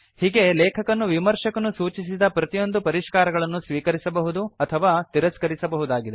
ಹೀಗೆ ಲೇಖಕನು ವಿಮರ್ಶಕನು ಸೂಚಿಸಿದ ಪ್ರತಿಯೊಂದು ಪರಿಷ್ಕಾರಗಳನ್ನು ಸ್ವೀಕರಿಸಬಹುದು ಅಥವಾ ತಿರಸ್ಕರಿಸಬಹುದಾಗಿದೆ